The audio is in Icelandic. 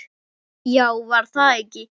Já, var það ekki!